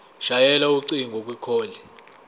shayela ucingo kwicall